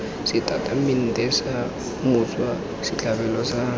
setatamente sa motswa setlhabelo sa